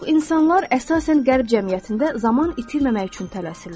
Bir çox insanlar, əsasən Qərb cəmiyyətində, zaman itirməmək üçün tələsirlər.